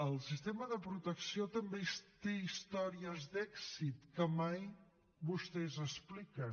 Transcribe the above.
el sistema de protecció també té històries d’èxit que mai vostès expliquen